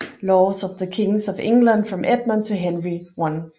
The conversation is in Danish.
Laws of the Kings of England from Edmund to Henry I